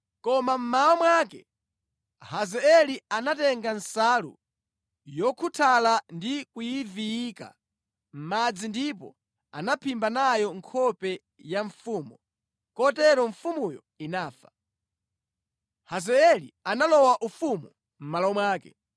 Koma mmawa mwake Hazaeli anatenga nsalu yokhuthala ndi kuyiviyika mʼmadzi ndipo anaphimba nayo nkhope ya mfumu, kotero mfumuyo inafa. Hazaeli analowa ufumu mʼmalo mwake.